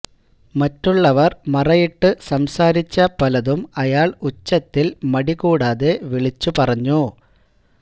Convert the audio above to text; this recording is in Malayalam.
മറ്റുള്ളവര് മറയിട്ട് സംസാരിച്ച പലതും അയാള് ഉച്ചത്തില് മടി കൂടാതെ വിളിച്ചു പറഞ്ഞു